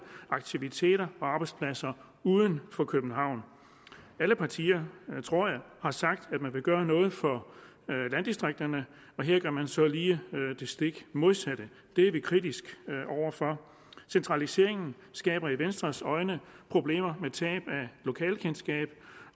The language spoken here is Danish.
aktiviteter og arbejdspladser uden for københavn alle partier tror jeg har sagt at de vil gøre noget for landdistrikterne her gør man så lige det stik modsatte det er vi kritiske over for centraliseringen skaber set med venstres øjne problemer tab af lokalkendskab